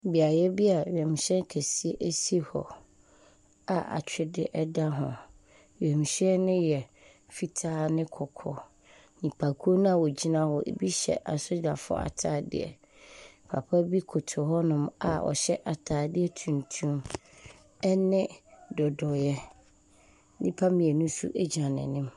Beaeɛ bi a wiemhyɛn kɛse si hɔ a atwedeɛ da kɔ. Wiemhyɛn no yɛ fitaa ne kɔkɔɔ. Nnipakuo no a wɔgyina hɔ ebi hyɛ asogyafoɔ atadeɛ. Papa bi koto hɔnom a ɔhyɛ atadeɛ tuntum ne dodoeɛ. Nnipa mmienu nso gyina n'anim.